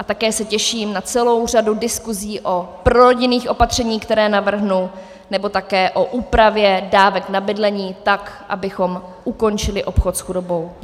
A také se těším na celou řadu diskusí o prorodinných opatřeních, která navrhnu, nebo také o úpravě dávek na bydlení, tak abychom ukončili obchod s chudobou.